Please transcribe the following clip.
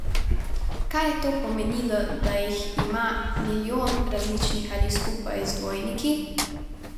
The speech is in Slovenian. Kaj je to pomenilo, da jih ima milijon različnih ali skupaj z dvojniki?